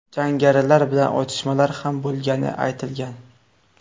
Jangarilar bilan otishmalar ham bo‘lgani aytilgan.